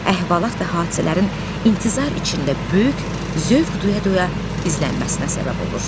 Əhvalat və hadisələrin intizar içində böyük zövq duya-duya izlənməsinə səbəb olur.